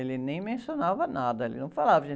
Ele nem mencionava nada, ele não falava.